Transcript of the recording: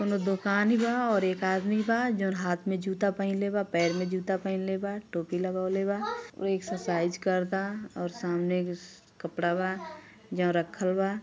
कोनों दुकान बा और एक आदमी बा जोन हाथ मे जूता पहीनले बा पैर मे जूता पहीनले बा टोपी लगवले बा और एक्सर्साइज़ करता और सामने स कपड़ा बा जोन रखल बा।